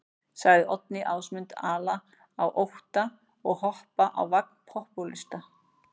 Sagði Oddný Ásmund ala á ótta og hoppa á vagn popúlista.